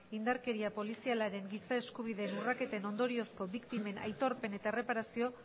indarkeria polizialaren giza eskubideen urraketen ondoriozko biktimen aitorpen eta erreparazio